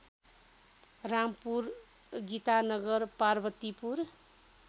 Rampur Gitanagar Parvatipur